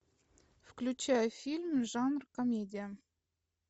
включай фильм жанр комедия